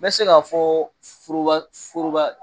N bɛ se ka fɔ foroba foroba